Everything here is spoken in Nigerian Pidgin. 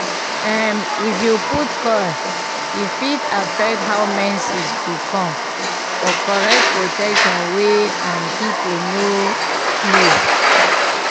um if u put coil e fit affect how menses go come - for correct protection wey um people no go know